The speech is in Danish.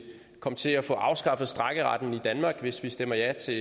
komme til at få afskaffet strejkeretten i danmark hvis vi stemmer ja til